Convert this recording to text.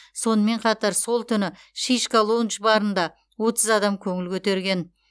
сонымен қатар сол түні шишка лоундж барында отыз адам көңіл көтерген